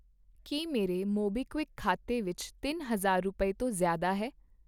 ਕੀ ਮੇਰੇ ਮੋਬੀਕਵਿਕ ਖਾਤੇ ਵਿੱਚ ਤਿੰਨ ਹਜ਼ਾਰ ਰੁਪਏ ਤੋਂ ਜ਼ਿਆਦਾ ਹੈ ?